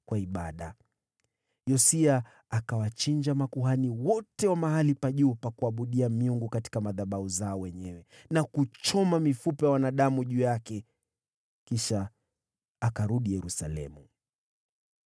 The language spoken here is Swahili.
Yosia akawachinja makuhani wote wa mahali pa juu pa kuabudia miungu katika madhabahu zao wenyewe, na kuchoma mifupa ya wanadamu juu yake. Kisha akarudi Yerusalemu.